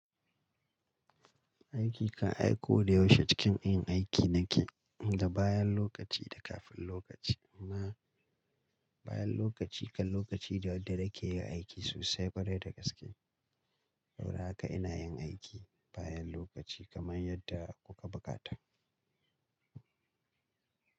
Aiki kan ai ko da yaushe cikin yin aiki na ke da bayan lokaci da kafin lokaci. Amma bayan lokaci kan lokaci ne wanda na ke yin aiki sosai kwarai da gaske. Saboda haka ina yin aiki bayan lokaci kaman yadda kuka bukata.